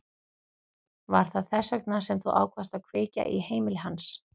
Var það þess vegna sem þú ákvaðst að kveikja í heimili hans?